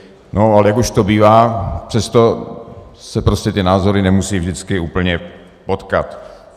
No, ale jak už to bývá, přesto se prostě ty názory nemusí vždycky úplně potkat.